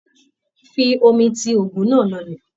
Fi omi ti oògùn náà lọlẹ̀.